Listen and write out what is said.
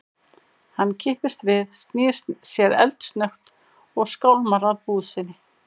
Hann kippist við, snýr sér eldsnöggt og skálmar að búð sinni.